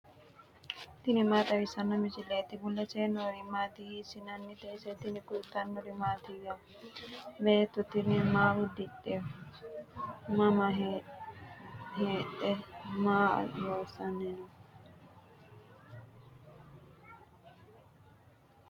tini maa xawissanno misileeti ? mulese noori maati ? hiissinannite ise ? tini kultannori mattiya? Beetto tinni maa udidhe? Mama heedhe? maa loosanni noo?